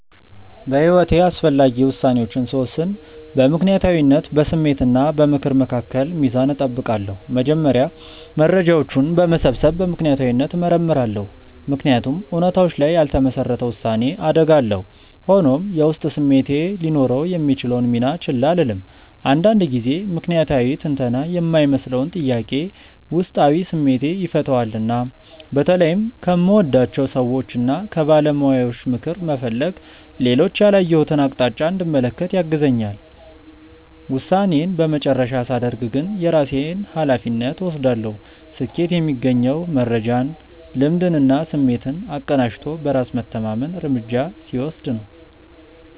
በሕይወቴ አስፈላጊ ውሳኔዎችን ስወስን በምክንያታዊነት፣ በስሜት እና በምክር መካከል ሚዛን እጠብቃለሁ። መጀመሪያ መረጃዎችን በመሰብሰብ በምክንያታዊነት እመረምራለሁ፤ ምክንያቱም እውነታዎች ላይ ያልተመሰረተ ውሳኔ አደጋ አለው። ሆኖም፣ የውስጥ ስሜቴ ሊኖረው የሚችለውን ሚና ችላ አልልም፤ አንዳንድ ጊዜ ምክንያታዊ ትንተና የማይመልሰውን ጥያቄ ውስጣዊ ስሜቴ ይፈታዋልና። በተለይም ከምወዳቸው ሰዎችና ከባለሙያዎች ምክር መፈለግ ሌሎች ያላየሁትን አቅጣጫ እንድመለከት ያግዘኛል። ውሳኔዬን የመጨረሻ ሳደርግ ግን የራሴን ሃላፊነት እወስዳለሁ። ስኬት የሚገኘው መረጃን፣ ልምድንና ስሜትን አቀናጅቶ በራስ መተማመን እርምጃ ሲወስድ ነው።